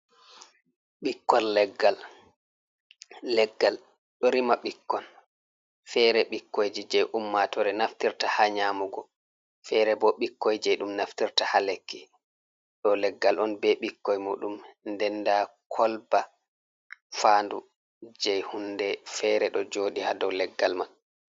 Ɓikkol leggal leggal ɗo rima ɓikkon fere ɓikkoiji je ummatore naftirta ha nyamugo, fere ɓo ɓikkoije ɗum naftirta ha lekki ,ɗow leggal on ɓe ɓikkoi muɗum ɗenɗa kolba fandu je hunɗe fere ɗo joɗi ha ɗow leggal man.